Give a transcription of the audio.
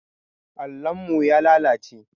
Allon mu ya lalace.